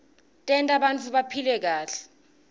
tenta bantfu baphile kahle